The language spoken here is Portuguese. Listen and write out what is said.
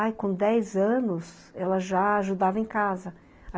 Ai, com dez anos, ela já ajudava em casa.